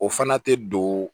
O fana tɛ don